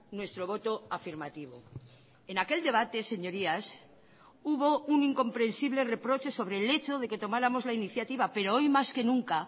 nuestro voto afirmativo en aquel debate señorías hubo un incomprensible reproche sobre el hecho de que tomáramos la iniciativa pero hoy más que nunca